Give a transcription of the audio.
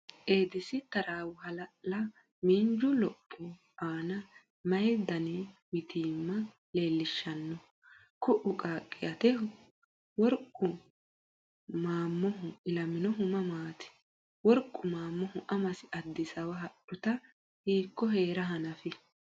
Eedisi taraawo hala’la miinju lopho aana mayi daninni mitiimma iillishshanno? Kuu”u qaaqqi ateho? Worqu Maammohu ilaminohu mamaati? Worqu Maammohu amasi Addisaawa hadhuta hiikko hee’ra hanafi?